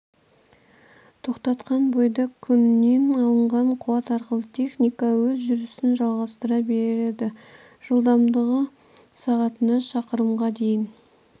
тоқтатқан бойда күннен алынған қуат арқылы техника өз жүрісін жалғастыра береді жылдамдығы сағатына шақырымға дейін